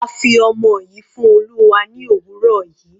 A fi ọmọ yìí fún Olúwa ní òwúrọ̀ yìí.